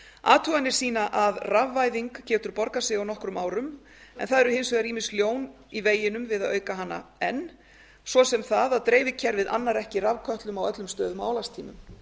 athuganir sýna að rafvæðing getur borgað sig á nokkrum árum en það eru hins vegar ýmis ljón í veginum við að auka hana enn svo sem það að dreifikerfið annar ekki rafkötlum á öllum stöðum á álagstímum